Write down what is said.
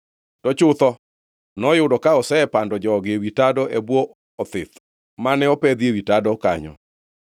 To chutho, noyudo ka osepando jogi ewi tado e bwo othith mane opedhi ewi tado kanyo.